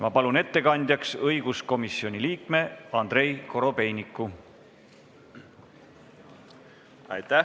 Ma palun ettekandjaks õiguskomisjoni liikme Andrei Korobeiniku!